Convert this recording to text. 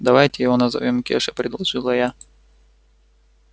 давайте его назовём кеша предложила я